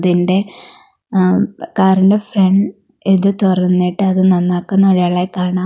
ഇതിൻ്റെ അം കാറിൻ്റെ ഫ്രൻ ഇത് തൊറന്നിട്ട് അത് നന്നാക്കുന്ന ഒരാളെ കാണാം.